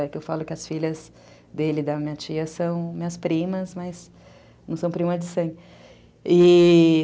É que eu falo que as filhas dele e da minha tia são minhas primas, mas não são primas de sangue, e...